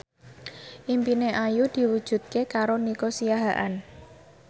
impine Ayu diwujudke karo Nico Siahaan